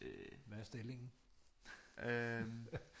Hvad er stillingen